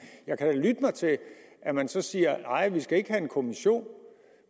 jeg kan lytte mig til at man så siger nej vi skal ikke have en kommission